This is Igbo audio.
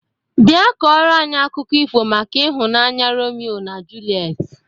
Bịa kọrọ anyị akụkọ ifo maka ịhụnanya Romio na Julet!